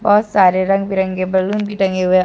सारे रंग बिरंगे बलून भी टंगे हुए--